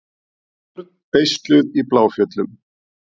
Börnin beisluð í Bláfjöllum